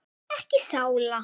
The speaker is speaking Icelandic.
Ekki sála.